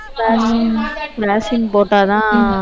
ஹம் vaccine போட்டாதான்